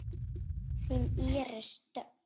Þín Íris Dögg.